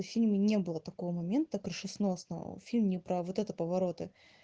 в фильме не было такого момента крышесносного фильм не про вот это повороты